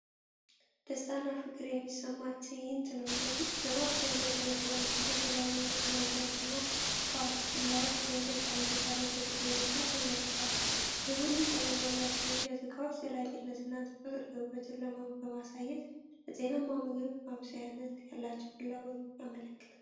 ደስታና ፍቅር የሚሰማበት ትዕይንት ነው! ለማብሰያ የሚያገለግሉ አምስት የተለያዩ የእንጨት ማንኪያዎችና ስፓቱላዎች በእንጨት ጠረጴዛ ላይ በጥሩ ሁኔታ ተዘርግተዋል። የቡኒ ቀለም ያላቸው የእንጨት ዕቃዎች ዘላቂነትንና ተፈጥሯዊ ውበትን በማሳየት፣ ለጤናማ ምግብ ማብሰያ ያላቸውን ፍላጎት ያመለክታሉ።